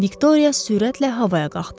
Viktoriya sürətlə havaya qalxdı.